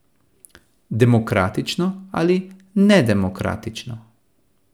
Demokratično ali nedemokratično?